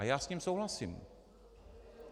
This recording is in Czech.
A já s ním souhlasím.